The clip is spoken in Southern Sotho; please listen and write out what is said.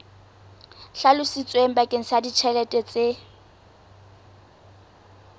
hlalositsweng bakeng sa ditjhelete tse